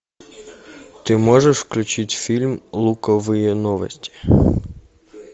ты можешь включить фильм луковые новости